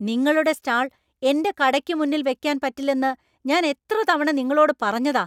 നിങ്ങളുടെ സ്റ്റാൾ എന്‍റെ കടയ്ക്ക് മുന്നിൽ വെക്കാൻ പറ്റില്ലെന്ന് ഞാൻ എത്ര തവണ നിങ്ങളോട് പറഞ്ഞതാ?